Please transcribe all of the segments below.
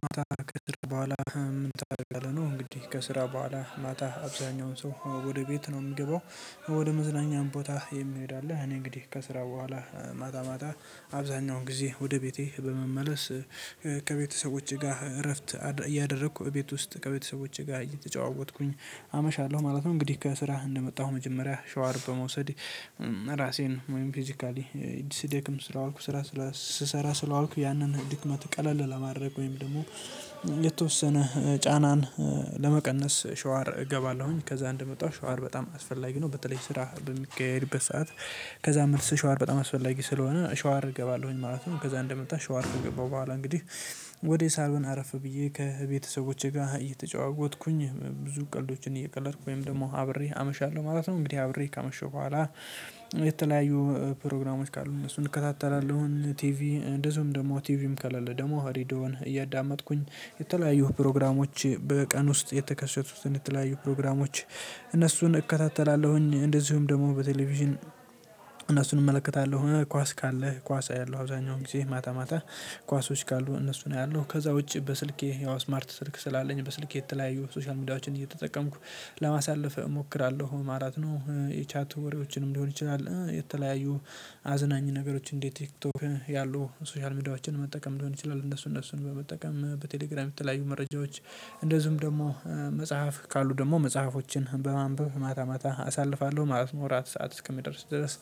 ማታ ከስራ በኋላ ምን ታደርጋለህ? እንግዲህ ከስራ በኋላ ማታ አብዛኛውን ሰው ወደ ቤት ነው የምገባው ወደ መዝናኛም ቦታ የምሄድ አለ እኔ እንግዲህ ከስራ በኋላ ማታ ማታ አብዛኛውን ጊዜ ወደ ቤቴ በመመለስ ከቤተሰቦቼ ጋር እረፍት እያደረኩ ቤት ውስጥ ከቤተሰቦቼ ጋር እየተጫወትኩኝ አመሻለሁ ማለት ነው። እንግዲህ ከስራህ እንደመጣሁ መጀመሪያ ሻወር በመውሰድ ራሴን ወይም ፊዚካሊ ዲሲዴክም ስላልኩ ስራ ስሰራ ስለዋልኩ ያንን ድክመት ቀለል ለማድረግ ወይም ደግሞ የተወሰነ ጫናን ለመቀነስ ሻወር እገባለሁኝ ከዛ እንደመጣሁ ሻወር በጣም አስፈላጊ ነው። በተለይ ስራ ብንቀይርበት ሰዓት ከዛ መልስ ሻወር በጣም አስፈላጊ ስለሆነ ሻወር እገባለሁኝ ማለት ነው። ከዛ እንደመጣ ሻወር ከገባሁ በኋላ እንግዲህ ወዴ ሳልውን አረፍ ብዬ ከቤተሰቦቼ ጋር እየተጫወትኩኝ ብዙ ቀልዶችን እየቀለድኩ ወይም ደግሞ አብሬ አመሻለሁ ማለት ነው። እንግዲህ አብሬ ካመሸው በኋላ የተለያዩ ፕሮግራሞች ካሉ እነሱን እከታተላለሁ ቲቪ እንደዚሁም ደግሞ ቲቪም ከለለ ደግሞ ሀሪዶን እያዳመጥኩኝ የተለያዩ ፕሮግራሞች በቀን ውስጥ የተከሰቱትን የተለያዩ ፕሮግራሞች እነሱን እከታተላለሁኝ። እንደዚሁም ደግሞ በቴሌቪዥን እነሱን እመለከታለሁ እኔ ኳስ ካለ ኳስ አያለሁ አውዛኛውን ጊዜ ማታ ማታ ኳሶች ካሉ እነሱን አያለሁ ያለው ከዛ ውጪ በስልኬ ያው ስማርት ስልክ ስላለኝ በስልኬ የተለያየው ሶሻል ሚዲያዎችን እየተጠቀምኩ ለማሳለፍ እሞክራለሁ። አራት ነው የቻት ወሬዎችንም ሊሆን ይችላል የተለያዩ አዝናኝ ነገሮች እንዴት ቲክቶክ ያሉ ሶሻል ሚዲያዎችን መጠቀም ሊሆን ይችላል። እነሱን እነሱን በመጠቀም በቴሌግራም የተለያዩ መረጃዎች እንደዚሁም ደግሞ መጽሐፍ ካሉ ደግሞ መጽሐፎችን በማንበብ ማታ ማታ አሳልፋለሁ ማለት ነው። አራት ሰዓት እስከሚደርስ ድረስ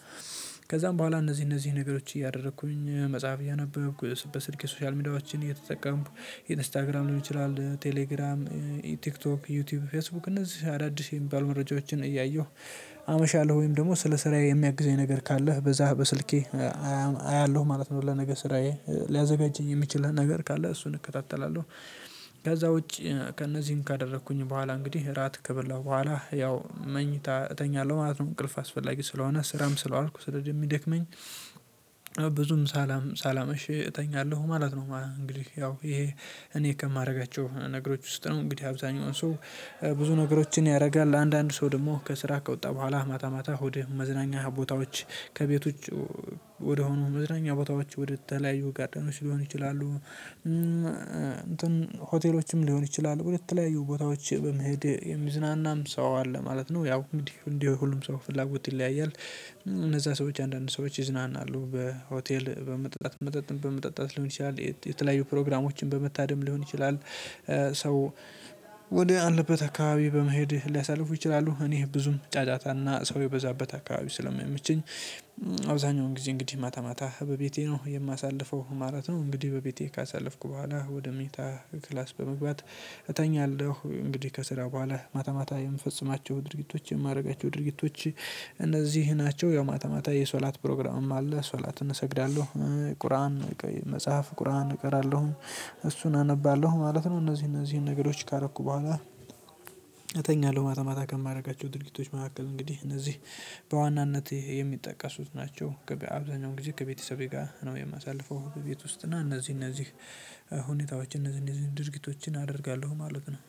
ከዛም በኋላ እነዚህ እነዚህ ነገሮች እያደረኩኝ መጽሐፍ እያነበብኩ በስልክ ሶሻል ሚዲያዎችን እየተጠቀምኩ ኢንስታግራም ሊሆን ይችላል ቴሌግራም ቲክቶክ ዩቲዩብ ፌስቡክ እነዚህ አዳዲስ የሚባል መረጃዎችን እያየሁ አመሻለሁ ወይም ደግሞ ስለ ስራዬ የሚያግዘኝ ነገር ካለህ በዛህ በስልኬ አያለሁ ማለት ነው። ለነገ ስራዬ ሊያዘጋጅኝ የሚችለን ነገር ካለ እሱን እከታተላለሁ። ከዛ ውጪ ከእነዚህም ካደረኩኝ በኋላ እንግዲህ እራት ከበላሁ በኋላ ያው መኝታ እተኛለሁ ማለት ነው። እንቅልፍ አስፈላጊ ስለሆነ ስራም ስለዋልኩ ስለዚህ የሚደክመኝ ብዙም ሳላም ሳላምሽ እተኛለሁ ማለት ነው። እንግዲህ ያው ይሄ እኔ ከማደርጋቸው ነገሮች ውስጥ ነው እንግዲህ አብዛኛውን ሰው ብዙ ነገሮችን ያደርጋል። ለአንዳንድ ሰው ደግሞ ከስራ ከወጣ በኋላ ማታ ማታ ወደ መዝናኛ ቦታዎች ከቤቶች ወደሆኑ መዝናኛ ቦታዎች ወደተለያዩ ጋደኖች ሊሆኑ ይችላሉ እንትን ሆቴሎችም ሊሆን ይችላል የተለያዩ ቦታዎች በመሄድ የሚዝናናም ሰው አለ ማለት ነው። ያው እንግዲህ እንዲህ ሁሉም ሰው ፍላጎት ይለያያል። እነዛ ሰዎች አንዳንድ ሰዎች ይዝናናሉ በሆቴል በመጠጣት መጠጥን በመጠጣት ሊሆን ይችላል የተለያዩ ፕሮግራሞችን በመታደም ሊሆን ይችላል። ሰው ወደ አንለበት አካባቢ በመሄድ ሊያሳልፉ ይችላሉ። እኔ ብዙም ጫጫታና ሰው የበዛበት አካባቢ ስለማይመቸኝ አብዛኛውን ጊዜ እንግዲህ ማታ ማታ በቤቴ ነው የማሳልፈው ማለት ነው። እንግዲህ በቤቴ ካሳለፍኩ በኋላ ወደ ምኝታ ክላስ በመግባት እተኛለሁ። እንግዲህ ከስራው በኋላ ማታ ማታ የምፈጽማቸው ድርጊቶች የማደርጋቸው ድርጊቶች እነዚህ ናቸው። ያው ማታማታ የሶላት ፕሮግራምም አለ ሶላትን እሰግዳለሁ ቁርአን መጽሐፍ ቁርአን እቀራለሁ እሱን አነባለሁ ማለት ነው። እነዚህ እነዚህን ነገሮች ካረኩ በኋላ ማታ ማታ ከማድረጋቸው ድርጊቶች መካከል እንግዲህ እነዚህ በዋናነት የሚጠቀሱት ናቸው። ገበያ አብዛኛው እንግዲህ ከቤተሰቤ ጋር ነው የማሳልፈው ቤት ውስጥ እና እነዚህ እነዚህ ሁኔታዎች እነዚህ እነዚህ ድርጊቶችን አደርጋለሁ ማለት ነው።